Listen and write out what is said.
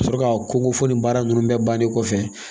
Sɔrɔ k'a ko ko fo nin baara ninnu bɛɛ bannen kɔfɛ